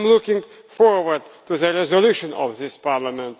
I am looking forward to the resolution of this Parliament.